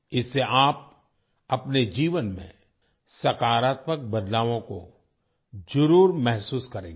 इससे आप अपने जीवन में सकारात्मक बदलावों को जरूर महसूस करेंगे